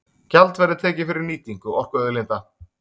Gjald verði tekið fyrir nýtingu orkuauðlinda